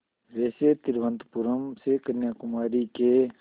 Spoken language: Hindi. वैसे तिरुवनंतपुरम से कन्याकुमारी के